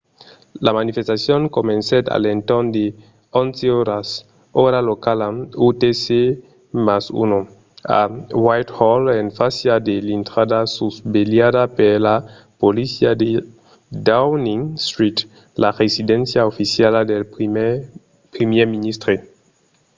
la manifestacion comencèt a l'entorn de 11:00 ora locala utc + 1 a whitehall en fàcia de l'intrada susvelhada per la polícia de downing street la residéncia oficiala del primièr ministre